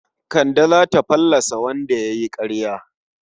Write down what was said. Kande za ta fallasa wanda ya yi ƙaryar.